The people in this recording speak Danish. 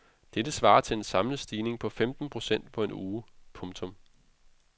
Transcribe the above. Dette svarer til en samlet stigning på femten procent på en uge. punktum